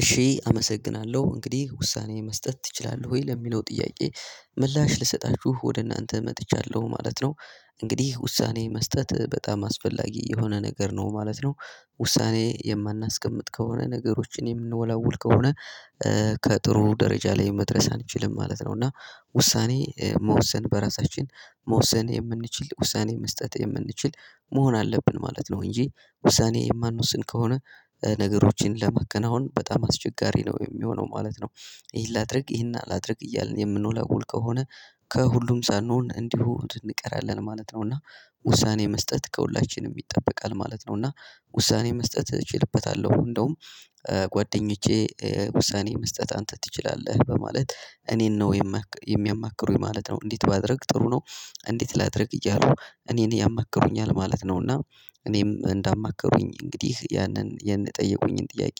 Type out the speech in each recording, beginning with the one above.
እሺ አመሰግናለሁ እንግዲህ ውሳኔ መስጠት ትችላለህ ወይ ለሚለው ጥያቄ ምላሽ ልሰጣችሁ ወደ እናንተ መጥቻለሁ ማለት ነው። እንግዲህ ውሳኔ መስጠት በጣም አስፈላጊ የሆነ ነገር ነው ማለት ነው። ውሳኔ የማናስቀምጥ ከሆነ ነገሮችን የምንወላውል ከሆነ። ከጥሩ ደረጃ ላይ መድረስ አንችልም ማለት ነው። እና ውሳኔ መወሰን በራሳችን መወሰን የምንችል ውሳኔ መስጠት የምንችል መሆን አለብን ማለት ነው። እንጂ ውሳኔ የማንወስን ከሆነ ነገሮችን ለማከናወን በጣም አስቸጋሪ ነው የሚሆነው ማለት ነው። ይሄን ላድርግ ይሄን አላድርግ እያልን የምንወላውል ከሆነ። ከሁሉም ሳንሆን እንዲሁ እንቀራለን ማለት ነው። እና ውሳኔ መስጠት ከሁላችንም ይጠበቃል ማለት ነው። እና ውሳኔ መስጠት እችልበታለሁ እንደውም ጓደኞቼ ውሳኔ መስጠት አንተ ትችላለህ በማለት እኔን ነው የሚያማክሩኝ ማለት ነው። እንዴት ባደርግ ጥሩ ነው? እንዴት ላድርግ እያሉ እኔን ያማክሩኛል ማለት ነው። እና እኔም እንዳማከሩኝ እንግዲህ ያንን የጠየቁኝን ጥያቄ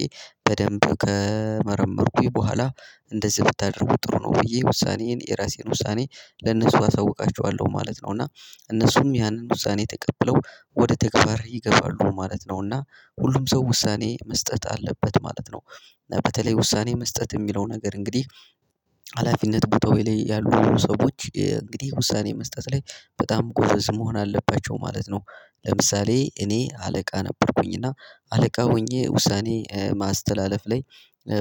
በደንብ ከመረመርኩኝ በኋላ እንደዚህ ብታደርጉ ጥሩ ነው ብዬ ውሳኔዬን የራሴን ውሳኔ ለነሱ አሳውቃቸዋለሁ ማለት ነው። እና እነሱም ያንን ውሳኔ ተቀብለው ወደ ተግባር ይገባሉ ማለት ነው። እና ሁሉም ሰው ውሳኔ መስጠት አለበት ማለት ነው። በተለይ ውሳኔ መስጠት የሚለው ነገር እንግዲህ ሀላፊነት ቦታ ላይ ያሉ ሰዎች እንግዲህ ውሳኔ መስጠት ላይ በጣም ጎዘዝ መሆን አለባቸው ማለት ነው። ለምሳሌ እኔ አለቃ ነበርኩኝ እና አለቃ ሆኜ ውሳኔ ማስተላለፍ ላይ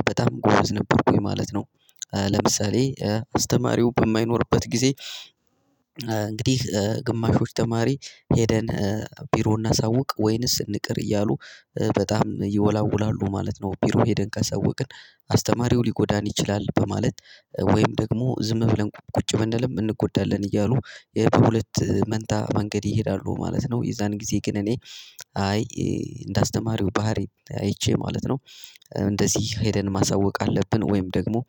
በጣም ጎረዝ ነበርኩኝ ማለት ነው። ለምሳሌ አስተማሪው በማይኖርበት ጊዜ እንግዲህ ግማሾች ተማሪ ሄደን ቢሮ እናሳውቅ ወይንስ እንቅር እያሉ በጣም ይወላውላሉ ማለት ነው። ቢሮ ሄደን ካሳወቅን አስተማሪው ሊጎዳን ይችላል በማለት ወይም ደግሞ ዝም ብለን ቁጭ ብንልም እንጎዳለን እያሉ የሁለት መንታ መንገድ ይሄዳሉ ማለት ነው። የዛን ጊዜ ግን እኔ የሚያማክሩኝ ማለት ነው። እንዴት ባደርግ ጥሩ ነው? እንዴት ላድርግ እያሉ እኔን ያማክሩኛል ማለት ነው።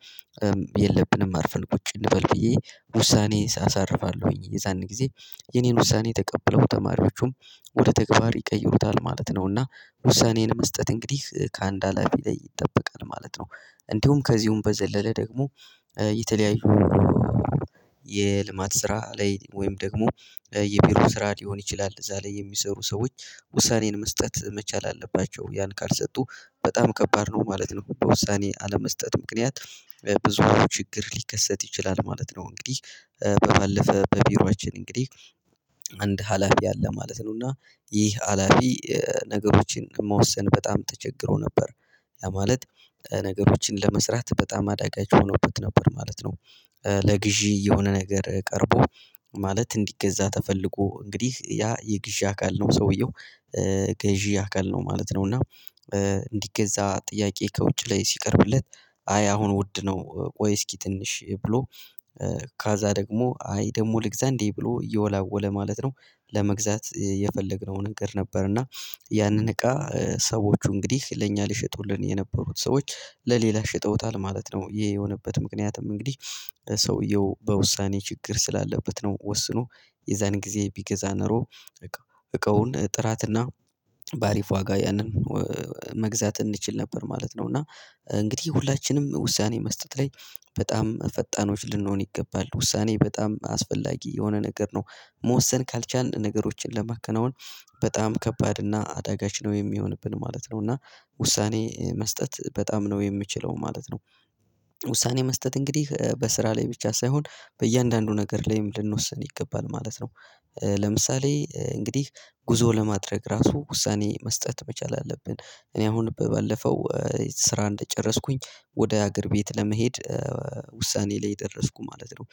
እና የለብንም አርፈን ቁጭ እንበል ብዬ ውሳኔዬን አሳልፋለሁ የዛን ጊዜ የእኔን ውሳኔ ተቀብለው ተማሪዎቹም ወደ ተግባር ይቀይሩታል ማለት ነው። እና ውሳኔን መስጠት እንግዲህ ከአንድ ሀላፊ ላይ ይጠበቃል ማለት ነው። እንዲሁም ከዚሁም በዘለለ ደግሞ የተለያዩ የልማት ስራ ላይ ወይም ደግሞ የቢሮ ስራ ሊሆን ይችላል እዛ ላይ የሚሰሩ ሰዎች ውሳኔን መስጠት መቻል አለባቸው ያን ካልሰጡ በጣም ከባድ ነው ማለት ነው። በውሳኔ አለመስጠት ምክንያት ብዙ ችግር ሊከሰት ይችላል ማለት ነው። እንግዲህ ባለፈ በቢሮአችን እንግዲህ አንድ ሀላፊ አለ ማለት ነው። እና ይህ ሀላፊ ነገሮችን መወሰን በጣም ተቸግሮ ነበር ያ ማለት ነገሮችን ለመስራት በጣም አዳጋች ሆኖበት ነበር ማለት ነው። ለግዢ የሆነ ነገር ቀርቦ ማለት እንዲገዛ ተፈልጎ እንግዲህ ያ የግዢ አካል ነው ሰውየው ገዢ አካል ነው ማለት ነው። እና እንዲገዛ ጥያቄ ከውጭ ላይ ሲቀርብለት አይ አሁን ውድ ነው ቆይ እስኪ ትንሽ ብሎ ካዛ ደግሞ አይ ደግሞ ልግዛ እንዴ ብሎ እየወላወለ ማለት ነው። ለመግዛት የፈለግነው ነገር ነበር እና ያንን እቃ ሰዎች እንግዲህ ለእኛ ሊሸጡልን የነበሩት ሰዎች ለሌላ ሸጠውታል ማለት ነው። ይሄ የሆነበት ምክንያትም እንግዲህ ሰውየው በውሳኔ ችግር ስላለበት ነው። ወስኖ የዛን ጊዜ ቢገዛ ኖሮ እቃውን ጥራትና ባሪፍ ዋጋ ያንን መግዛት እንችል ነበር ማለት ነው። እና እንግዲህ ሁላችንም ውሳኔ መስጠት ላይ በጣም ፈጣኖች ልንሆን ይገባል ውሳኔ በጣም አስፈላጊ የሆነ ነገር ነው። መወሰን ካልቻልን ነገሮችን ለማከናወን በጣም ከባድ እና አደጋች ነው የሚሆንብን ማለት ነው። እና ውሳኔ መስጠት በጣም ነው የምችለው ማለት ነው። ውሳኔ መስጠት እንግዲህ በስራ ላይ ብቻ ሳይሆን በእያንዳንዱ ነገር ላይም ልንወስን ይገባል ማለት ነው። ለምሳሌ እንግዲህ ጉዞ ለማድረግ ራሱ ውሳኔ መስጠት መቻል አለብን እኔ አሁን ባለፈው ስራ እንደጨረስኩኝ ወደ ሀገር ቤት ለመሄድ ውሳኔ ላይ ደረስኩ ማለት ነው።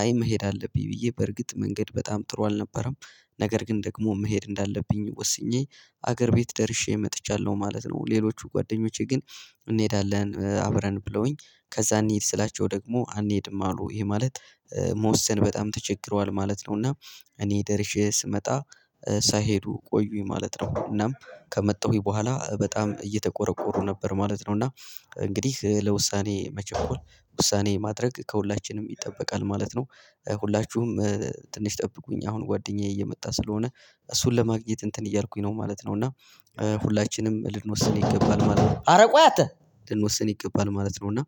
አይ መሄድ አለብኝ ብዬ በርግጥ መንገድ በጣም ጥሩ አልነበረም። ነገር ግን ደግሞ መሄድ እንዳለብኝ ወስኜ ሀገር ቤት ደርሼ መጥቻለሁ ማለት ነው። ሌሎቹ ጓደኞቼ ግን እንሄዳለን አብረን ብለውኝ ከዛ እንሂድ ስላቸው ደግሞ አንሄድም አሉ ይሄ ማለት መወሰን በጣም ተቸግረዋል ማለት ነው። እና እኔ ደርሼ ስመጣ ሳይሄዱ ቆዩኝ ማለት ነው። እናም ከመጣሁኝ በኋላ በጣም እየተቆረቆሩ ነበር ማለት ነው። እና እንግዲህ ለውሳኔ መቸኮል ውሳኔ ማድረግ ከሁላችንም ይጠበቃል ማለት ነው። ሁላችሁም ትንሽ ጠብቁኝ አሁን ጓደኛዬ እየመጣ ስለሆነ እሱን ለማግኘት እንትን እያልኩኝ ነው ማለት ነው እና ሁላችንም ልንወስን ይገባል ማለት ነው። አረ ቆይ አንተ ልንወስን ይገባል ማለት ነው። እና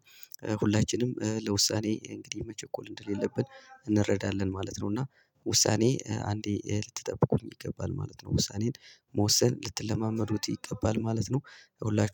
ሁላችንም ለውሳኔ እንግዲህ መቸኮል እንደሌለብን እንረዳለን ማለት ነው። እና ውሳኔ አንዴ ልትጠብቁ ይገባል ማለት ነው። ውሳኔን መወሰን ልትለማመዱት ይገባል ማለት ነው። ይኸውላችሁ